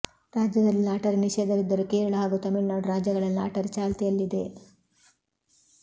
ರಾಜ್ಯದಲ್ಲಿ ಲಾಟರಿ ನಿಷೇಧವಿದ್ದರೂ ಕೇರಳ ಹಾಗೂ ತಮಿಳುನಾಡು ರಾಜ್ಯಗಳಲ್ಲಿ ಲಾಟರಿ ಚಾಲ್ತಿಯಲ್ಲಿದೆ